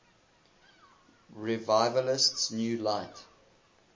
revivalist new light